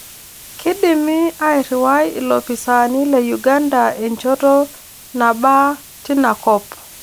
Kidimi airriwai ilopisaani le Uganda enchoto nabaa tina kop